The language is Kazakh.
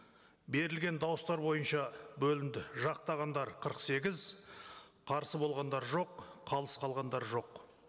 берілген дауыстар бойынша бөлінді жақтағандар қырық сегіз қарсы болғандар жоқ қалыс қалғандар жоқ